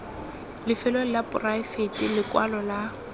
lefelong la poraefete lekwalo la